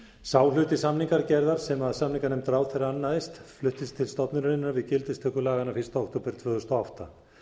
sá hluti samningagerðar sem samninganefnd ráðherra annaðist fluttist til stofnunarinnar við gildistöku laganna fyrsta október tvö þúsund og átta